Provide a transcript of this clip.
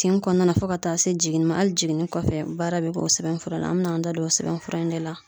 Tin kɔnɔna na fɔ ka taa se jiginni ma ali jiginni kɔfɛ baara be k' o sɛbɛnfura la an bi n'an da don o sɛbɛn fura in de la